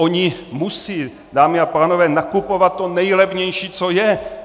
Oni musí, dámy a pánové, nakupovat to nejlevnější, co je.